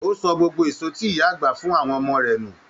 O sọ gbogbo èso tí ìyá àgbà fún àwọn ọmọ rẹ nù.